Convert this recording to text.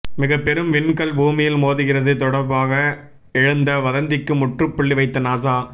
மிகப்பெரும் விண்கல் பூமியில் மோதுகிறது தொடபாக எழுந்த வதந்திக்கு முற்றுப்புள்ளி வைத்த நாசா